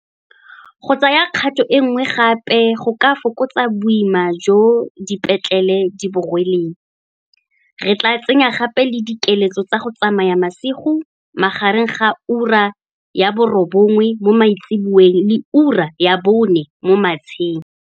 Go tsaya kgato e nngwe gape go ka fokotsa boima jo dipetlele di bo rweleng, re tla tsenya gape le dikiletso tsa go tsamaya masigo magareng ga ura ya bo robongwe mo maitsiboeng le ura ya bone mo matsheng.